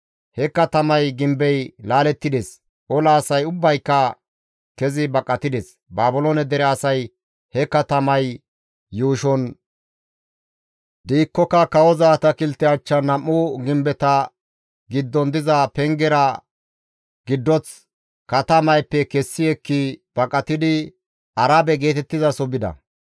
He katamay gimbey laalettides; ola asay ubbayka kezi baqatides. Baabiloone dere asay he katamay yuushon diikkoka kawoza atakilte achchan nam7u gimbeta giddon diza pengezara giddoth katamayppe kessi ekki baqatidi Arabe geetettizaso bida.